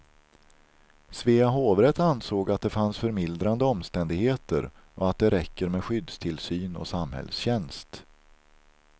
Svea hovrätt ansåg att det fanns förmildrande omständigheter och att det räcker med skyddstillsyn och samhällstjänst.